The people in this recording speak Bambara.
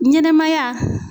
Ɲɛnɛmaya